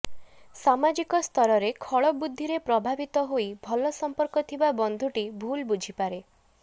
ସାମାଜିକ ସ୍ତରରେ ଖଳବୁଦ୍ଧିରେ ପ୍ରଭାବିତ ହୋଇ ଭଲ ସମ୍ପର୍କ ଥିବା ବନ୍ଧୁଟି ଭୁଲ୍ ବୁଝିପାରେ